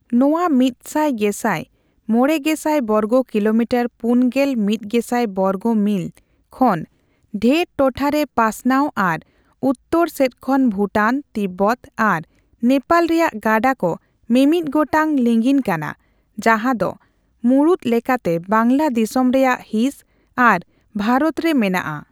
ᱱᱚᱣᱟ ᱢᱤᱛ ᱥᱟᱭ ᱜᱮᱥᱟᱭ ᱢᱚᱲᱮ ᱜᱮᱥᱟᱭ ᱵᱚᱨᱜ ᱠᱤᱞᱚᱢᱤᱴᱚᱨ ᱯᱩᱱᱜᱮᱞ ᱢᱤᱛ ᱜᱮᱥᱟᱭ ᱵᱚᱨᱜ ᱢᱤᱞ) ᱠᱷᱚᱱ ᱰᱷᱮᱨ ᱴᱚᱴᱷᱟ ᱨᱮ ᱯᱟᱥᱱᱟᱣ ᱟᱨ ᱩᱛᱛᱚᱨ ᱥᱮᱫ ᱠᱷᱚᱱ ᱵᱷᱩᱴᱟᱱ, ᱛᱤᱵᱵᱚᱛ ᱟᱨ ᱱᱮᱯᱟᱞ ᱨᱮᱭᱟᱜ ᱜᱟᱰᱟ ᱠᱚ ᱢᱤᱢᱤᱫ ᱜᱚᱴᱟᱝ ᱞᱤᱸᱜᱤᱱ ᱠᱟᱱᱟ ᱡᱟᱦᱟᱸ ᱫᱚ ᱢᱩᱬᱩᱛ ᱞᱮᱠᱟᱛᱮ ᱵᱟᱝᱜᱞᱟ ᱫᱤᱥᱚᱢ ᱨᱮᱭᱟᱜ ᱦᱤᱸᱥ ᱟᱨ ᱵᱷᱟᱨᱚᱛ ᱨᱮ ᱢᱮᱱᱟᱜᱼᱟ᱾